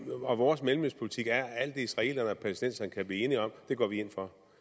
og vores mellemøstpolitik er at alt det israelerne og palæstinenserne kan blive enige om går vi ind for